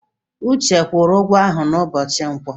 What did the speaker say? Uche kwụrụ ụgwọ ahụ n'ụbọchị Nkwọ?